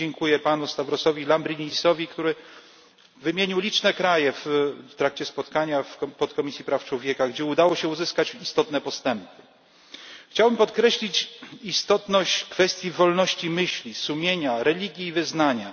Tutaj dziękuję panu Stavrosowi Lambrinidisowi, który wymienił liczne kraje w trakcie spotkania w Podkomisji Praw Człowieka, gdzie udało się uzyskać istotne postępy. Chciałbym podkreślić istotność kwestii wolności myśli, sumienia, religii i wyznania.